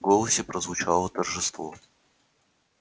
в голосе прозвучало торжество